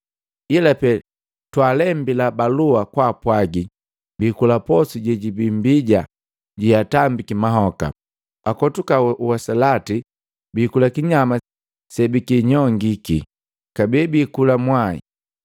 ila Pee twaalembila balua kwaapwagi biikula poso jejibii mbija jeatambiki mahoka, akotuka usalati, biikula kinyama sebikinyongiki, kabee bikula mwai.